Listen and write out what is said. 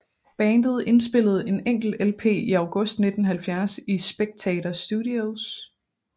Bandet indspillede en enkelt LP i August 1970 i Spectator Studios